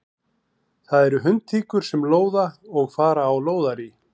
Það eru hundtíkur sem lóða og fara á lóðarí.